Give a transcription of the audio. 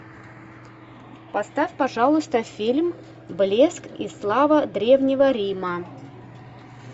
поставь пожалуйста фильм блеск и слава древнего рима